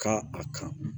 Kan a kan